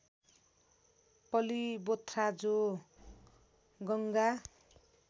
पलिबोथ्रा जो गङ्गा